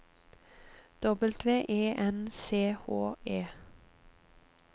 W E N C H E